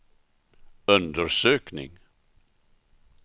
undersökning